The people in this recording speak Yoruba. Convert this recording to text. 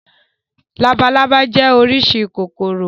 Labalábá jẹ́ oríṣi kòkòrò.